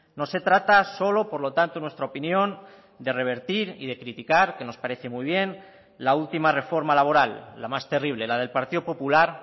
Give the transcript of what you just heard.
no se trata solo por lo tanto en nuestra opinión de revertir y de criticar que nos parece muy bien la última reforma laboral la más terrible la del partido popular